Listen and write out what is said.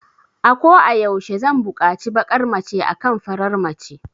Ako a yaushe zan bukaci bakar mace akan farar mace